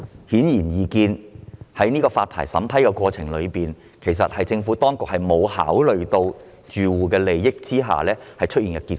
顯而易見，這是政府當局在審批牌照申請的過程中沒有考慮住戶利益而出現的結果。